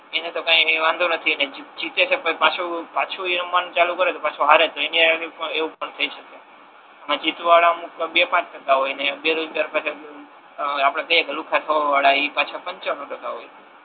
એને તો કાઇ વાંધો નથી અને જે જીતે છે પાછુ એ રમવાનુ ચાલુ કરે પાછુ હારે છે અને એની આગળ એવુ પણ થાય શકે આમા જીતવા વાળા અમુક બે પાંચ ટકા હોય ને બેરોજગાર અ બ પાછા આપડે કઈએ કે એ પાછા પંચરો થતા હોય છે